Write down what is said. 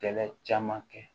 Kɛlɛ caman kɛ